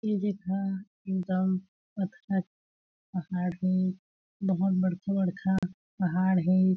ए जेहा एकदम पथरा पहाड़ हे बहोत बाड़खा-बाड़खा पहाड़ हे।